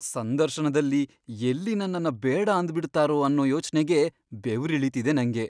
ಸಂದರ್ಶನದಲ್ಲಿ ಎಲ್ಲಿ ನನ್ನನ್ನ ಬೇಡ ಅಂದ್ಬಿಡ್ತಾರೋ ಅನ್ನೋ ಯೋಚ್ನೆಗೇ ಬೆವ್ರಿಳೀತಿದೆ ನಂಗೆ.